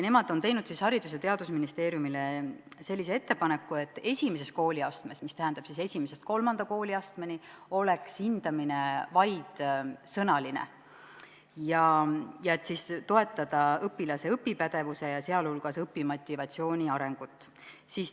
Nemad on teinud Haridus- ja Teadusministeeriumile sellise ettepaneku, et I-st III kooliastmeni oleks hindamine vaid sõnaline, et toetada õpilase õpipädevuse, sh õpimotivatsiooni arengut.